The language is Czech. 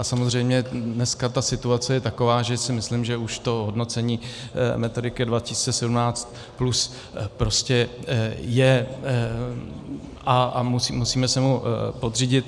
A samozřejmě dneska ta situace je taková, že si myslím, že už to hodnocení Metodiky 2017+ prostě je a musíme se mu podřídit.